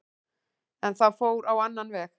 En það fór á annan veg.